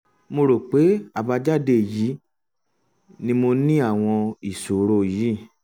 mo rò pé àbájáde èyí ni mo ní àwọn ìṣòro yìí